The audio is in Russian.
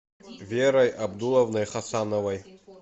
верой абдулловной хасановой